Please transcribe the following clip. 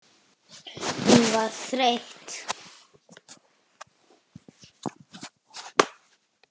Hún var þreytt.